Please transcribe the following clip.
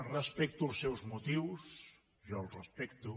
respecto els seus motius jo els respecto